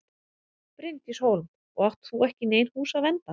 Bryndís Hólm: Og átt þú ekki í nein hús að vernda?